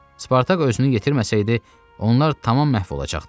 Spartak özünü yetirməsəydi, onlar tamam məhv olacaqdı.